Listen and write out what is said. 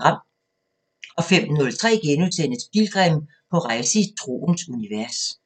05:03: Pilgrim – på rejse i troens univers *